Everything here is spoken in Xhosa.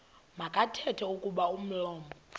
makathethe kuba umlomo